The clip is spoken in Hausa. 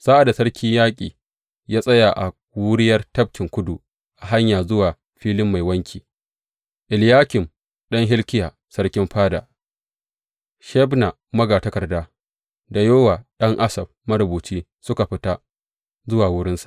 Sa’ad da sarkin yaƙi ya tsaya a wuriyar Tafkin Tudu, a hanya zuwa Filin Mai Wanki, Eliyakim ɗan Hilkiya sarkin fada, Shebna magatakarda, da Yowa ɗan Asaf marubuci suka fita zuwa wurinsa.